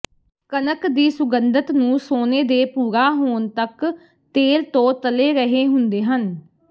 ਕਣਕ ਦੀ ਸੁਗੰਧਤ ਨੂੰ ਸੋਨੇ ਦੇ ਭੂਰਾ ਹੋਣ ਤੱਕ ਤੇਲ ਤੋਂ ਤਲੇ ਰਹੇ ਹੁੰਦੇ ਹਨ